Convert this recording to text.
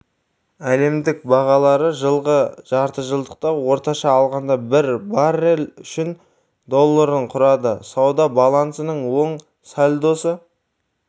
әлемдік бағалары жылғы жартыжылдықта орташа алғанда бір баррель үшін долларын құрады сауда балансының оң сальдосы